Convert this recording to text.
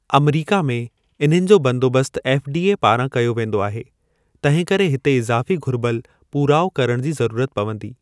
अमरीका में, इन्हनि जो बंदोबस्त एफ़डीए पारां कयो वेंदो आहे, तंहिंकरे हिते इज़ाफ़ी घुरिबल पूराओ करण जी ज़रूरत पवंदी।